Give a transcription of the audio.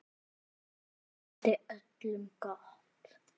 Hann vildi öllum gott.